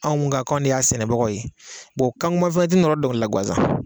Anw mun kan k'an ne y'a sɛnɛbagaw ye kangoman fɛnɛ tɛ nɔrɔ dɔnkilila la guwanzan.